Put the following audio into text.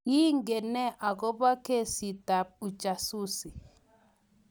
Kingen nee akobo keesitab Ujasusi?